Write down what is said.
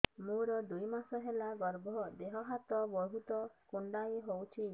ମୋର ଦୁଇ ମାସ ହେଲା ଗର୍ଭ ଦେହ ହାତ ବହୁତ କୁଣ୍ଡାଇ ହଉଚି